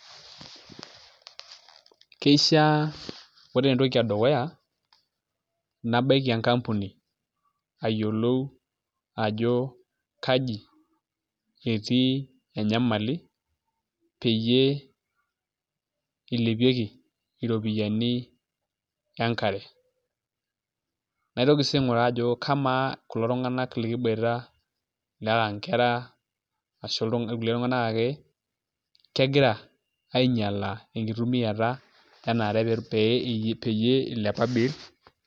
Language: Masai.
Keishiaa ore entoki edukuya nabaiki enkampuni ayiolou ajo kaji etii enyamali peyie ilepieki iropiyiani enkare naitoki sii aing'uraa ajo kamaa kulo tung'anak likiboita enaa nkera ashu kulie tung'anak ake kegira ainyialaa enkitumiata ena aare peyie ilepa bei.